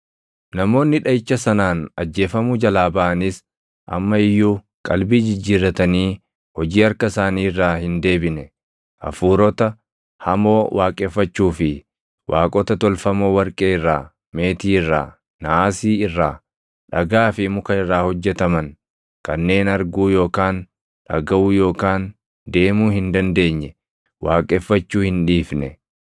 Namoonni dhaʼicha sanaan ajjeefamuu jalaa baʼanis amma iyyuu qalbii jijjiirratanii hojii harka isaanii irraa hin deebine; hafuurota hamoo waaqeffachuu fi waaqota tolfamoo warqee irraa, meetii irraa, naasii irraa, dhagaa fi muka irraa hojjetaman kanneen arguu yookaan dhagaʼuu yookaan deemuu hin dandeenye waaqeffachuu hin dhiifne.